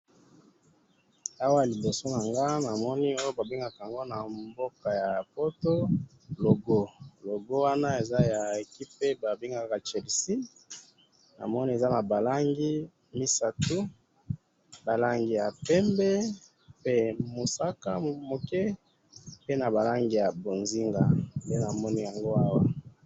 Na moni logo ya Chelsea na ba langi misatu, bozinga, pembe na motane.